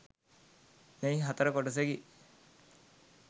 මෙහි හතර කොටසකි.